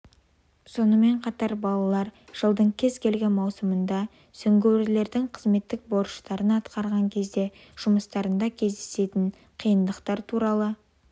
сонымен қатар балалар жылдың кез келген маусымында сүңгуірлердің қызметтік борыштарын атқарған кезде жұмыстарында кездесетін қиындықтар туралы